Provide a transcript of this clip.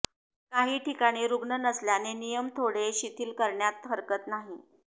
काही ठिकाणी रुग्ण नसल्याने नियम थोडे शिथील करण्यास हरकत नाही